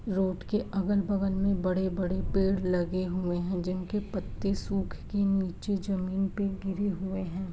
Road के अगल-बगल में बड़े-बड़े पेड़ लगे हुए हैं जिनके पत्ते सुख के नीचे जमीन पे गिरे हुए हैं।